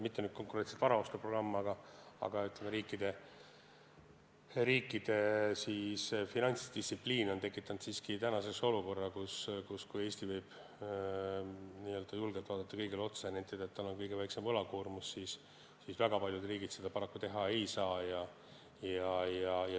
Mitte nüüd konkreetselt varaostuprogramm, aga, ütleme, riikide finantsdistsipliin on tekitanud olukorra, kus Eesti võib küll julgelt kõigile otsa vaadata ja nentida, et meil on kõige väiksem võlakoormus, aga väga paljud riigid seda paraku teha ei saa.